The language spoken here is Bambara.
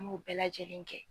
An m'o bɛɛ lajɛlen kɛ.